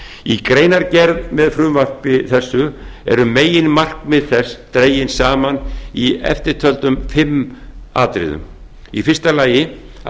í greinargerð með frumvarpi þessu eru meginmarkmið þess dregin saman í eftirtöldum fimm atriðum fyrstu að